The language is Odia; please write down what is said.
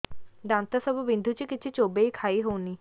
ଦାନ୍ତ ସବୁ ବିନ୍ଧୁଛି କିଛି ଚୋବେଇ ଖାଇ ହଉନି